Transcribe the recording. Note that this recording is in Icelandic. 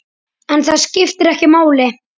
En það skiptir ekki máli.